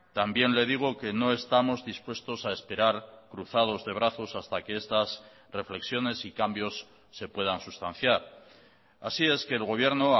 también le digo que no estamos dispuestos a esperar cruzados de brazos hasta que estas reflexiones y cambios se puedan sustanciar así es que el gobierno